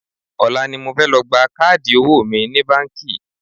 Ọ̀la ni mo fẹ́ lọ gba káàdì owó mi ní báńkì